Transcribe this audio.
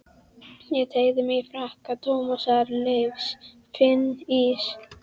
Ég teygi mig í frakka Tómasar Leifs, finn ís